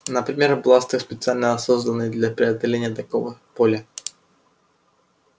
например бластер специально созданный для преодоления такого поля